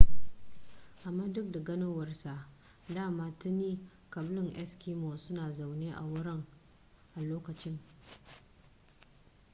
amma duk da ganowar sa dama tuni ƙabilun eskimo suna zaune a wurin a lokacin